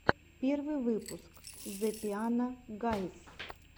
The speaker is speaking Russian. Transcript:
первый выпуск зе пиано гайз